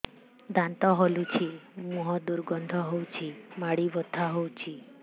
ଦାନ୍ତ ହଲୁଛି ମୁହଁ ଦୁର୍ଗନ୍ଧ ହଉଚି ମାଢି ବଥା ହଉଚି